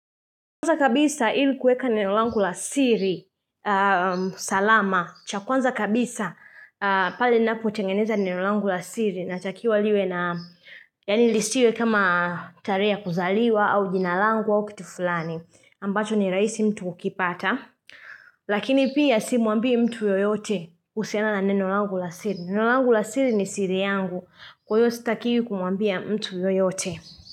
Kwanza kabisa ili kueka nenolangu la siri salama. Chakwanza kabisa pale napo tengeneza nenolangu la siri. Na takiwa liwe na, yani lisiwe kama tarehe ya kuzaliwa au jinalangu au kitu fulani. Ambacho ni rahisi mtu kukipata. Lakini pia si muambi mtu yoyote kuhusiana na nenolangu la siri. Nenolangu la siri ni siri yangu. Kwa huyo sitakiwi kumuambia mtu yoyote.